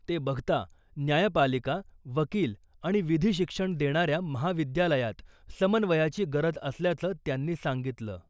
ते बघता न्यायपालिका , वकील आणि विधी शिक्षण देणाऱ्या महाविद्यालयात समन्वयाची गरज असल्याचं त्यांनी सांगितलं .